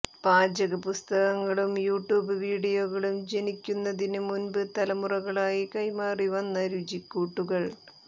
പാചക പുസ്തകങ്ങളും യൂട്യൂബ് വിഡിയോകളും ജനിക്കുന്നതിന് മുൻപ് തലമുറകളായി കൈമാറി വന്ന രുചിക്കൂട്ടുകൾ